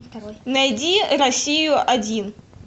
найди россию один